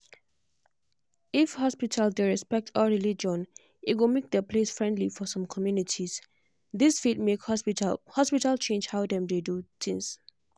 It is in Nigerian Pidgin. if hospital dey respect all religion e go make the place friendly for some communities. this fit make hospital hospital change how dem dey do things.